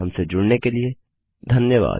हमसे जुड़ने के लिए धन्यवाद